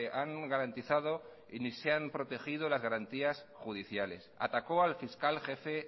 han garantizado ni se han protegido las garantías judiciales atacó al fiscal jefe